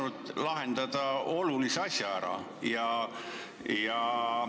Oleks saanud olulise asja ära lahendada.